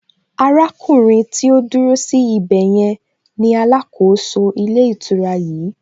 Arákùnrin tí ó dúró sí ibè yẹn ni alákòóso ilé ìtura yìí